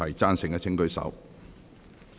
贊成的請舉手。